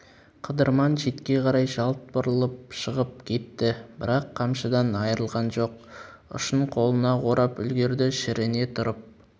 қыдырман шетке қарай жалт бұрылып шығып кетті бірақ қамшыдан айырылған жоқ ұшын қолына орап үлгерді шірене тұрып